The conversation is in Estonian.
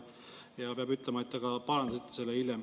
Peab ütlema, et te ka parandasite selle hiljem.